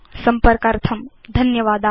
संपर्कार्थं धन्यवादा